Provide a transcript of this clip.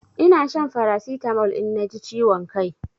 Ina shan Farasitamol in na ji ciwon kai